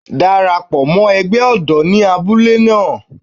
Dara pọ̀ mọ́ ẹgbẹ́ ọ̀dọ́ ní abúlé náà.